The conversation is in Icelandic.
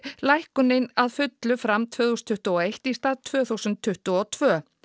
lækkunin að fullu fram tvö þúsund tuttugu og eitt í stað tvö þúsund tuttugu og tvö